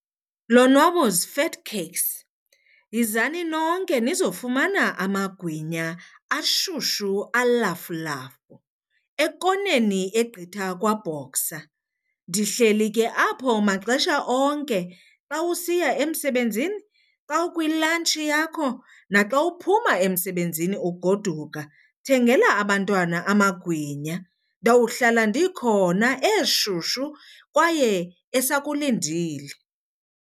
Lonwabo's Fat Cakes, yizani nonke nizofumana amagwinya ashushu alafulafu ekoneni egqitha kwaBoxer. Ndihleli ke apho maxesha onke. Xa usiya emsebenzini, xa ukwi-lunch yakho naxa uphuma emsebenzini ugoduka, thengela abantwana amagwinya. Ndawuhlala ndikhona eshushu kwaye esakulindile.